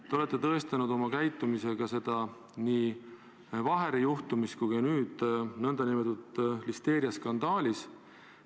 Te olete tõestanud oma käitumisega seda nii Vaheri juhtumis kui ka nüüd nn listeeriaskandaalis.